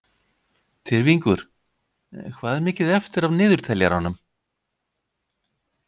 Tyrfingur, hvað er mikið eftir af niðurteljaranum?